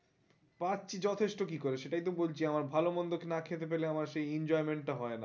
পাচ্ছি যথেষ্ট কি করে সেটাই তো বলছি আমার ভালো মন্দ না খেতে পেলে সেই enjoyment টা হয়না